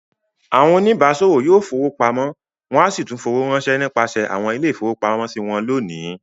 Àwọn oníbàáṣòwò yóò fowó pamọ́ wọn a sì tún fowó ránṣẹ́ nípasẹ̀ àwọn ilé-ìfowópamọ́sí wọn lónìí.